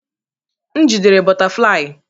M jidere bọtaflai.